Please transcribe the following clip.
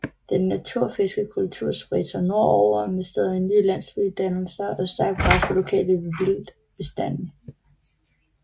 Den natufiske kultur spredte sig nordover med stadig nye landsbydannelser og stærkt pres på lokale vildtbestande